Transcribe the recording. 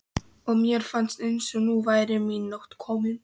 og mér fannst eins og nú væri mín nótt komin.